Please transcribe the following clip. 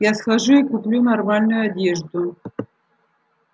я схожу и куплю нормальную одежду